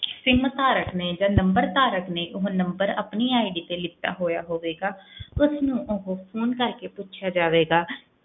Sim ਧਾਰਕ ਨੇ ਜਾਂ number ਧਾਰਕ ਨੇ ਉਹ number ਆਪਣੀ ID ਤੇ ਲਿੱਤਾ ਹੋਇਆ ਹੋਵੇਗਾ ਉਸਨੂੰ ਉਹ phone ਕਰਕੇ ਪੁੱਛਿਆ ਜਾਵੇਗਾ,